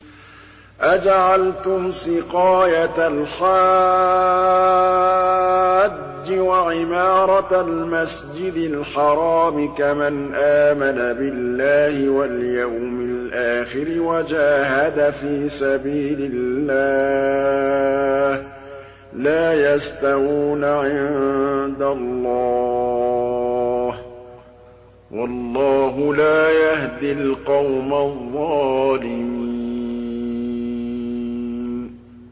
۞ أَجَعَلْتُمْ سِقَايَةَ الْحَاجِّ وَعِمَارَةَ الْمَسْجِدِ الْحَرَامِ كَمَنْ آمَنَ بِاللَّهِ وَالْيَوْمِ الْآخِرِ وَجَاهَدَ فِي سَبِيلِ اللَّهِ ۚ لَا يَسْتَوُونَ عِندَ اللَّهِ ۗ وَاللَّهُ لَا يَهْدِي الْقَوْمَ الظَّالِمِينَ